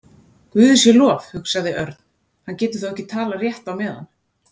Guði sé lof, hugsaði Örn, hann getur þá ekki talað rétt á meðan.